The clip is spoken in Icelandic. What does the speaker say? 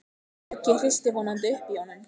Höggið hristir vonandi upp í honum.